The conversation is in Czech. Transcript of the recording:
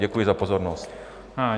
Děkuji za pozornost.